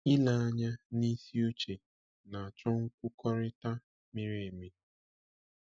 Ile anya n’isi uche na-achọ nkwukọrịta miri emi.